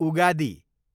Ugadi